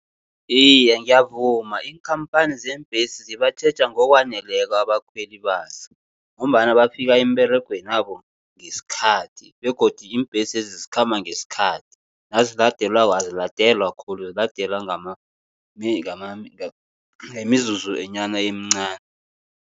Iye, ngiyavuma iinkhamphani zeembhesi zibatjheja ngokwaneleko abakhweli bazo, ngombana bafika emberegwenabo ngesikhathi begodi iimbhesezi zikhamba ngesikhathi. Naziladelwako aziladelwa khulu, ziladelwa ngemizuzunyana emincani.